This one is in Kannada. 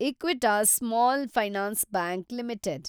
Equitas small finance bank limited